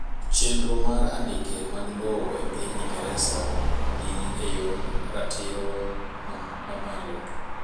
Chenro mar andike mag lowo epiny Ingereza ni eyor ratiro mamalo.